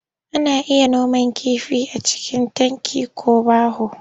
Ana iya noman kifi a cikin tanki ko baho.